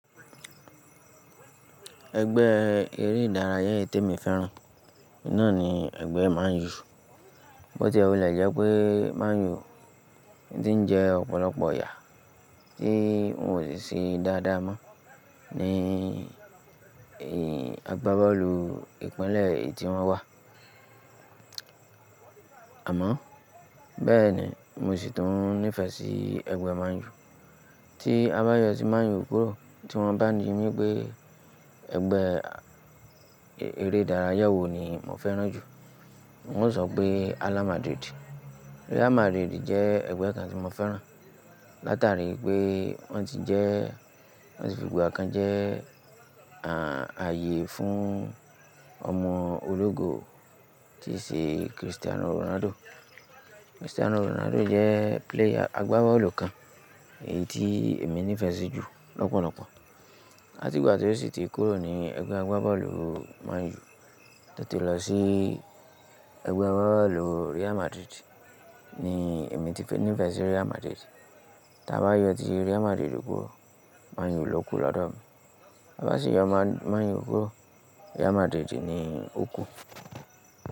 Ẹgbẹ́ eré ìdárayá è tèmi fẹ́ràn náà ni ẹgbẹ́ Man U. Bóti ó wule jẹ́ pé Man U tí ń jẹ́ ọ̀pọ̀lọpọ̀ yà tí won ò ṣe dáadáa mọ́ ní agbábọ́ọ̀lù ìpínlẹ̀ e'tí wọ́n wà. Àmọ́ bẹ́ẹ̀ ni mi ò sì tún nífẹ̀ẹ́ sí ẹgbẹ́ Man U. Tí a bá yọ tí Man U kúrò tí wọ́n bá ní mí pé ẹgbẹ́ eré ìdárayá wo ni mo fẹ́ràn jù, n o sọ pé Hala Madrid. Real Madrid jẹ́ ẹgbẹ́ kan tí mo fẹ́ràn látàríi pé wọ́n ti jẹ́, wọn ti fi ìgbà kan jẹ́ ààyè fún ọmọ ológo tí ṣe Cristiano Ronaldo. Cristiano Ronaldo jẹ́ player agbábọ́ọ̀lù kan èyí tí èmi nífẹ̀ẹ́ sí jù lọ́pọ̀lọpọ̀. Láti ìgbà tí ó sì ti kúrò ní ẹgbẹ́ agbábọ́ọ̀lù Man U tọ ti lọ sí ẹgbẹ́ agbábọ́ọ̀lù Real Madrid ni èmi ti nífẹ̀ẹ́ sí Real Madrid. Tí a bá yọ ti Real Madrid kúrò, Man U ló kù lọ́dọ̀ mi. Bá sì yọ Man U kúrò Real Madrid ni ó kù.